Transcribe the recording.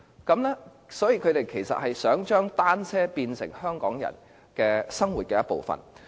他們其實是想將單車變成香港人生活的一部分。